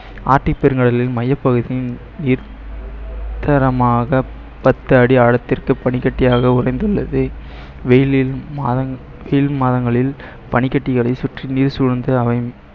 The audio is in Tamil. ஆர்டிக் பெருங்கடலின் மையப்பகுதியின் தரமாக பத்து அடி ஆழத்திற்கு பனிக்கட்டியாக உடைந்துள்ளது வெயிலில் மாதங்~ கீழ் மாதங்களில் பனிக்கட்டிகளை சுற்றி நீர் சூழ்ந்து அமையும்